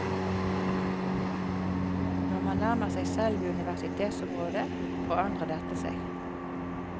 Når man nærmer seg selve universitetsområdet, forandrer dette seg.